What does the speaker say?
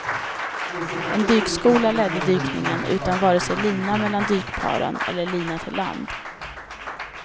En dykskola ledde dykningen utan vare sig lina mellan dykparen eller lina till land.